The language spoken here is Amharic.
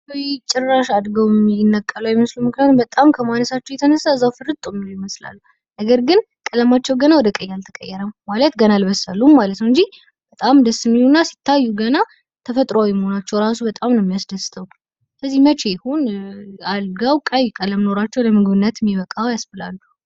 ውይ ጭራሽ አድገውም ሚነቀሉ አይመስሉም። በጣም ከማልረሳቸው የተነሳ እዛው ፈርጥ ምን ይመስላሉ፤ ነገር ግን ቀለማቸው ገና ወደ ቀኝ አልተቀየረም ። ማለት ገና አልመሰሉም ማለት ነው እንጂ በጣም ደስ የሚሉና ሲታዩ ገና ተፈጥሯዊ መሆናቸው ራሱ በጣም የሚያስደስተው። ስለዚህ መቼ ይሁን አድገው ቀይ ቀለም ኖሯቸው ለምግብነት ሚበቃው ያስብላሉ።